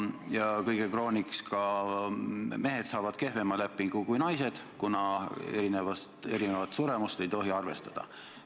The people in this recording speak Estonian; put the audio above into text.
Ja kõige krooniks saavad mehed kehvema lepingu kui naised, kuna erinevat suremust ei tohi arvestada.